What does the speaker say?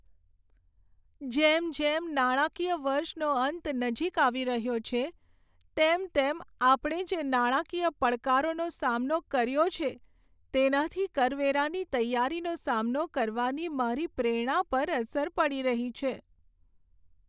જેમ જેમ નાણાકીય વર્ષનો અંત નજીક આવી રહ્યો છે તેમ તેમ આપણે જે નાણાકીય પડકારોનો સામનો કર્યો છે તેનાથી કરવેરાની તૈયારીનો સામનો કરવાની મારી પ્રેરણા પર અસર પડી રહી છે.